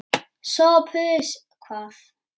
SOPHUS: Hvað?